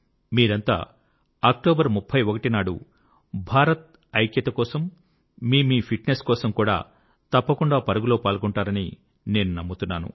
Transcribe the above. మీరంతా 31 అక్టోబర్ నాడు భారత్ ఐక్యత కోసం మీ మీ ఫిట్ నెస్ కోసం కూడా తప్పకుండా పరుగులో పాల్గొంటారని నేను నమ్ముతున్నాను